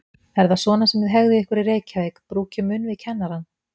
Er það svona sem þið hegðið ykkur í Reykjavík, brúkið munn við kennarann?